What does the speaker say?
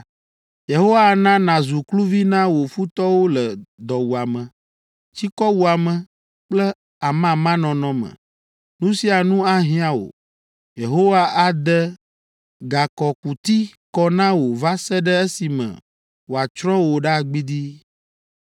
Yehowa ana nàzu kluvi na wò futɔwo le dɔwuame, tsikɔwuame kple amamanɔnɔ me. Nu sia nu ahiã wò. Yehowa ade gakɔkuti kɔ na wò va se ɖe esime wòatsrɔ̃ wò ɖa gbidii.